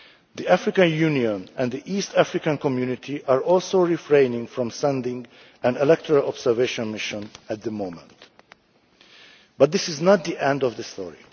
The African Union and the East African Community are also refraining from sending an electoral observation mission at the moment. But this is not the end of the story.